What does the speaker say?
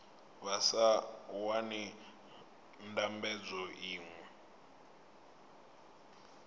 vha sa wani ndambedzo iṅwe